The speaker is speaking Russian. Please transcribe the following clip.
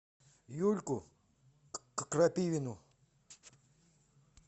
юльку крапивину